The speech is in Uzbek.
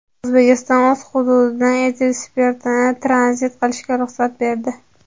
O‘zbekiston o‘z hududidan etil spirtini tranzit qilishga ruxsat berdi.